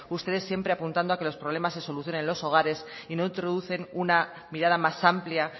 ustedes siempre a que los problemas se solucionen en los hogares y no introducen una mirada más amplia